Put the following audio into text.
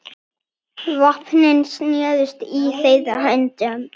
Vopnin snerust í þeirra höndum.